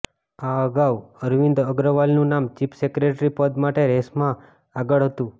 આ અગાઉ અરવિંદ અગ્રવાલનું નામ ચીફ સેક્રેટરી પદ માટે રેસમાં આગળ હતું